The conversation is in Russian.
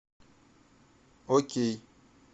окей